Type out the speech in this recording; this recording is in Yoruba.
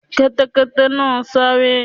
Kẹ́tẹ́kẹ́tẹ́ náà sáré.